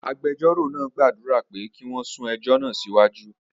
Agbẹjọ́rò náà gbàdúrà pé kí wọ́n sún ẹjọ́ náà síwájú.